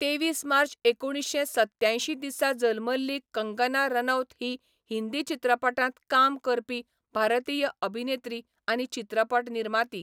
तेवीस मार्च एकुणीश्शें सत्त्यांयशीं दिसा जल्मल्ली कंगना रनौत ही हिंदी चित्रपटांत काम करपी भारतीय अभिनेत्री आनी चित्रपट निर्माती.